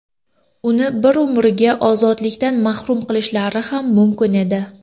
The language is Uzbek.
Uni bir umrga ozodlikdan mahrum qilishlari ham mumkin edi.